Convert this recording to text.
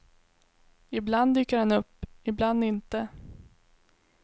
Ibland dyker han upp, ibland inte.